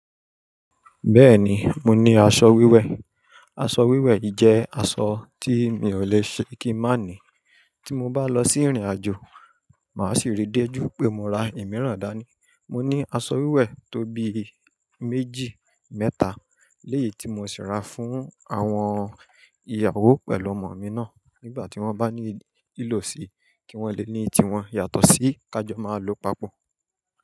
Bẹ́ẹ̀ni, mo ní aṣọ wíwẹ̀. Aṣọ wíwẹ̀ yìí jẹ́ aṣọ tí mi ò le ṣe kí n má ni. Tí mo bá lọ sí ìrìnàjò, màá sì ri déju pé mo ra ìmíràn dání. Mo ní aṣọ wíwẹ̀ tó bií méjì, mẹ́ta. Léyìí tí mo sì ra fún àwọn ìyàwó pẹ̀lú ọmọ mi náà nígbà tí wọ́n bá ní lò ṣe kí wọ́n le ní ti wọn yàtọ̀ sí ká jọ máa lo papọ̀.